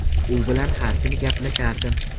U bilan har kuni gaplashardim.